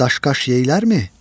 Daş-qaş yeyərlərmi?